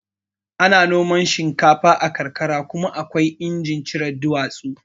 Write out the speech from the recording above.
Ana noman shinkafa a karkara kuma akwai injin cire duwatsu